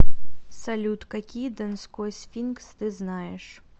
салют какие донской сфинкс ты знаешь